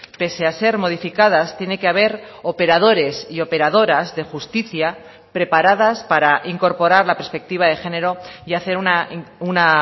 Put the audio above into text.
pese a ser modificadas tiene que haber operadores y operadoras de justicia preparadas para incorporar la perspectiva de género y hacer una